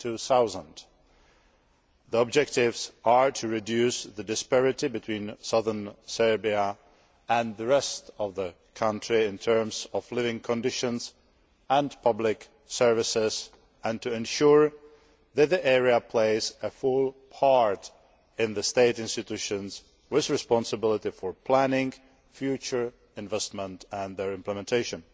2000. The objectives are to reduce the disparity between southern Serbia and the rest of the country in terms of living conditions and public services, and to ensure that the area plays a full part in the state institutions with responsibility for planning, future investment and their implementation.